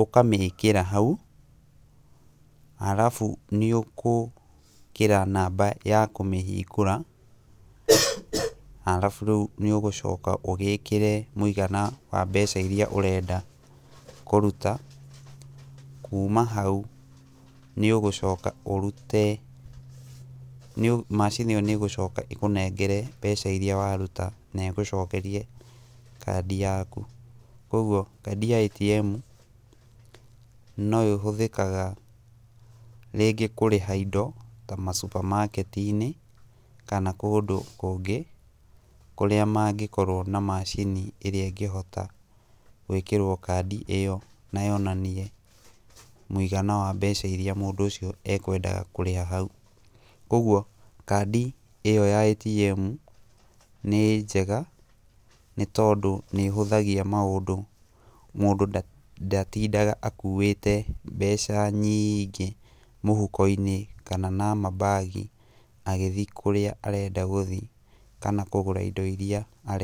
ũkamĩkĩra hau, arabu nĩũgwĩkĩra namba ya kũmĩhingũra arabu rĩu nĩũgũcoka ũgĩkĩre mũigana wa mbeca iria ũrenda kũruta. Kuma hau nĩũgũcoka ũrute, macini ĩyo nĩĩgũcoka ĩkũnengere mbeca iria waruta na igũcokeria kaadi yau. Kuoguo kaadi ya ĩtiemu no ĩhũthĩkaga rĩngĩ ta kũrĩha indo ta ma supermarket inĩ kana kũndũ kũngĩ kũrĩa mangĩkorwo na macini ĩrĩa ĩngĩhota gwĩkĩrwo kaadi ĩyo na yonanie mũigana wa mbeca iria mũndũ ũcio ekwendaga kũrĩha hau. Kuoguo kaadi ĩyo ya ĩtiemu nĩ njega nĩtondũ nĩĩhũthagia maũndũ mũndũ ndatindaga akuĩte mbeca nyiiingĩ mũhuko-inĩ kana na mambagi agĩthiĩ kũrĩa arenda gũthiĩ kana kũgũra indo iria arenda.